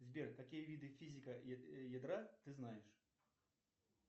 сбер какие виды физика ядра ты знаешь